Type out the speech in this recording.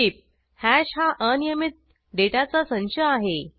टीपः hash हा अनियमीत डेटाचा संच आहे